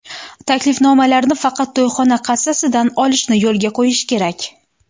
Taklifnomalarni faqat to‘yxona kassasidan olishni yo‘lga qo‘yish kerak.